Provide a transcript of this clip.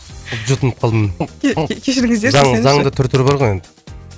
жұтынып қалдым кешіріңіздерші десеңізші заң заңның да түр түрі бар ғой енді